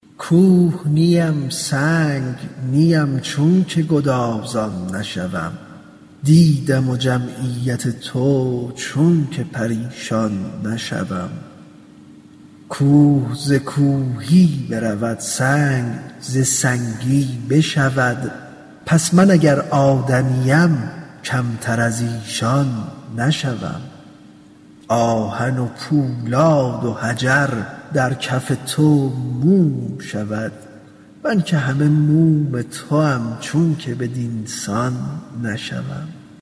کوه نیم سنگ نیم چونک گدازان نشوم دیدم جمعیت تو چونک پریشان نشوم کوه ز کوهی برود سنگ ز سنگی بشود پس من اگر آدمیم کمتر از ایشان نشوم آهن پولاد و حجر در کف تو موم شود من که همه موم توام چونک بدین سان نشوم